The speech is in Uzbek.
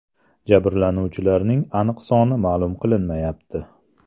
Jabrlanuvchilarning aniq soni ma’lum qilinmayapti.